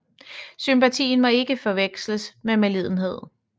Sympatien må ikke forveksles med medlidenhed